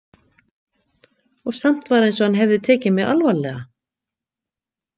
Og samt var eins og hann hefði tekið mig alvarlega.